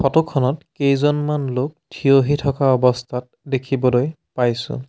Photo খনত কেইজনমান লোক থিয়হি থকা অৱস্থাত দেখিবলৈ পাইছোঁ।